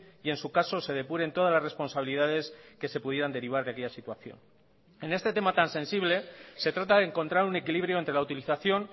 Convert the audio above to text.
y en su caso se depuren todas las responsabilidades que se pudieran derivar de aquella situación en este tema tan sensible se trata de encontrar un equilibrio entre la utilización